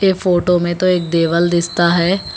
ये फोटो में तो एक देवल दिसता है।